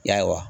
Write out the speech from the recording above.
Ya